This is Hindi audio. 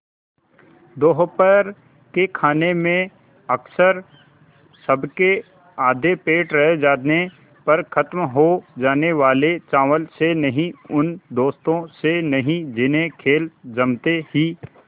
दोपहर के खाने में अक्सर सबके आधे पेट रह जाने पर ख़त्म हो जाने वाले चावल से नहीं उन दोस्तों से नहीं जिन्हें खेल जमते ही